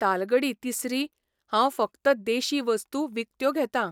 तालगडी तिसरी, हांव फक्त देशी वस्तू विकत्यो घेतां.